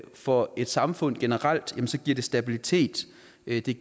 for et samfund generelt stabilitet et